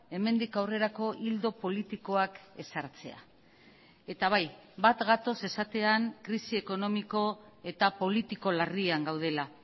hemendik aurrerako ildo politikoak ezartzea eta bai bat gatoz esatean krisi ekonomiko eta politiko larrian gaudela